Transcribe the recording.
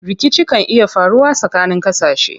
Rikici kan iya faruwa tsakanin ƙasashe.